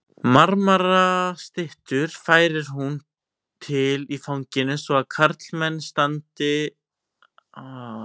Marmarastyttur færir hún til í fanginu svo að karlmenn standa á öndinni af undrun.